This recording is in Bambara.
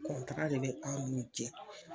de bɛ an' n'u cɛ